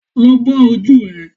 Lọ bọ́ ojú ẹ